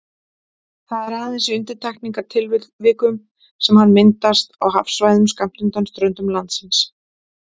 Það er aðeins í undantekningartilvikum sem hann myndast á hafsvæðum skammt undan ströndum landsins.